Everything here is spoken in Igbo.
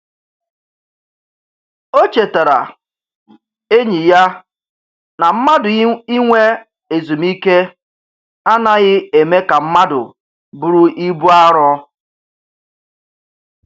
O chetaara enyi ya na mmadụ inwe ezumike anaghị eme ka mmadụ bụrụ ibu arọ.